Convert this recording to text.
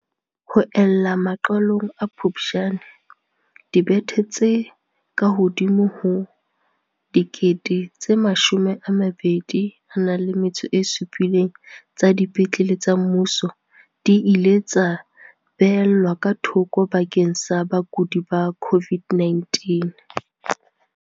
Ho ella maqalong a Phuptjane, dibethe tse kahodimo ho 27 000 tsa dipetlele tsa mmuso di ile tsa beellwa ka thoko bakeng sa bakudi ba COVID-19.